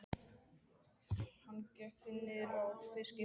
Hann gekk því niður að fiskihöfn.